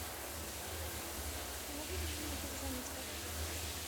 не могли бы вы мне перезвонить пожалуйста